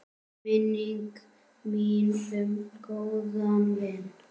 Minning mín um góðan vin.